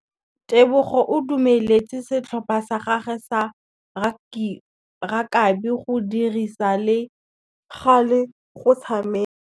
Tebogô o dumeletse setlhopha sa gagwe sa rakabi go dirisa le galê go tshameka.